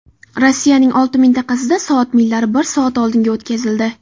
Rossiyaning olti mintaqasida soat millari bir soat oldinga o‘tkazildi.